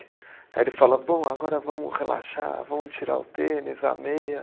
Aí ele fala, bom, agora vamos relaxar, vamos tirar o tênis, a meia.